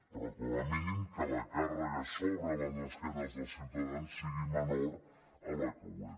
però com a mínim que la càrrega sobre les esquenes dels ciutadans sigui menor a la que és